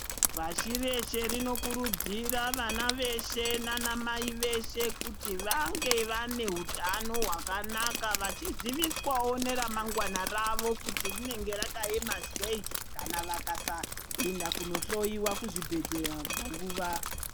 Pashireshe rinokurudzira vana veshe nanamai veshe kuti vange vane hutano hwakanakaka vachiziviswawo neramangwana ravo kuti rinenge rakaema sei kana vakasaenda kunohloyiwa kuzvibhedheya panguwa.